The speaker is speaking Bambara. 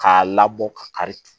K'a labɔ ka kari